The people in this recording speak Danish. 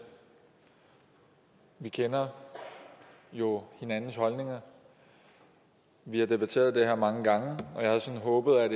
vi kender jo hinandens holdninger vi har debatteret det her mange gange og jeg havde sådan håbet at